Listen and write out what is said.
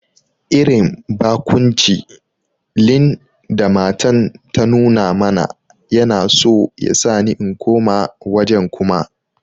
Irin bakunci lin da matan ta nuna mana Yana so yasani in koma wajen Kuma.